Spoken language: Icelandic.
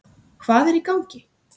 Hvað er í gangi?